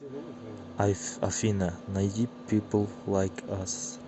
афина найди пипл лайк ас